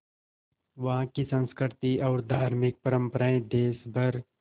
वहाँ की संस्कृति और धार्मिक परम्पराएं देश भर